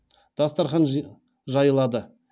дастархан жайылады